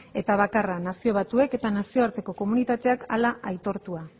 eta bakarra nazio batuek eta nazioarteko komunitateak hala aitortua